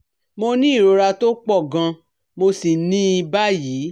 Mo ni ìrora tó pọ̀ gan mo sì ní i báyìí